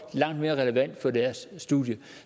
langt mere relevant job for deres studie